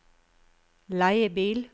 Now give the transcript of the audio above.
leiebil